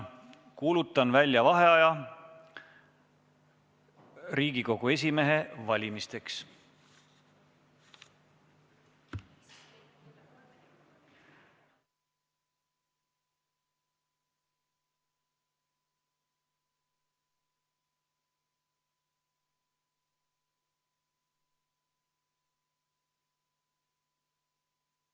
Kuulutan välja vaheaja Riigikogu esimehe valimiseks.